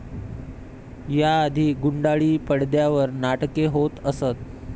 या आधी गुंडाळी पडद्यावर नाटके होत असत.